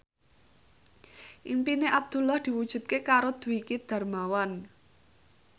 impine Abdullah diwujudke karo Dwiki Darmawan